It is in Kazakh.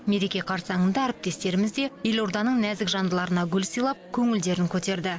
мереке қарсаңында әріптестеріміз де елорданың нәзік жандыларына гүл сыйлап көңілдерін көтерді